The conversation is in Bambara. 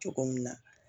Cogo min na